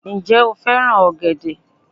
Ǹ je o fẹ́ràn ọ̀gẹ̀dẹ̀